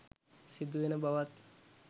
සිදු වෙන බවත්.